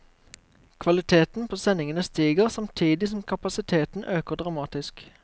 Kvaliteten på sendingene stiger, samtidig som kapasiteten øker dramatisk.